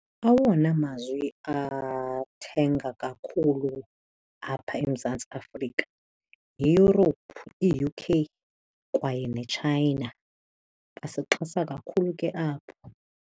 Awona mazwe athenga kakhulu apha eMzantsi Afrika yiYurophu i-U_K kwaye neTshayina. Basixhasa kakhulu ke abo.